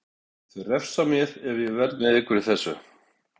Þeir refsa mér ef ég verð með ykkur í þessu.